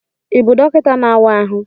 Ị bụ dọkịta n'awa ahụ?